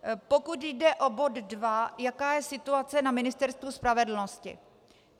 Pokud jde o bod dva, jaká je situace na Ministerstvu spravedlnosti.